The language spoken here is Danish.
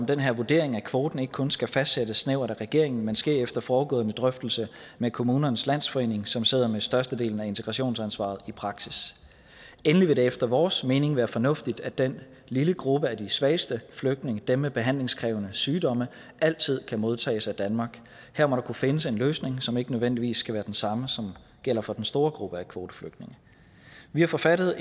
den her vurdering af kvoten ikke kun skal fastsættes snævert af regeringen men skal ske efter forudgående drøftelse med kommunernes landsforening som sidder med størstedelen af integrationsansvaret i praksis endelig vil det efter vores mening være fornuftigt at den lille gruppe af de svageste flygtninge dem med behandlingskrævende sygdomme altid kan modtages af danmark her må der kunne findes en løsning som ikke nødvendigvis skal være den samme som gælder for den store gruppe af kvoteflygtninge vi har forfattet